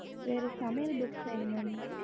வேறு சமையல் book வேணும் mam